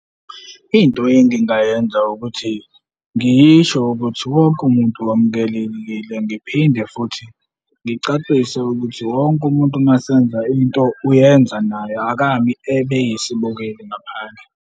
Into engingayenza ukuthi ngisho ukuthi wonke umuntu wamukelekile ngiphinde futhi ngicacise ukuthi wonke umuntu uma senza into uyenza naye, akami ebe yisibukeli ngaphandle.